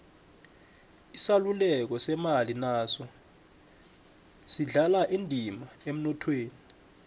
isaluleko semali naso sidlala indima emnothweni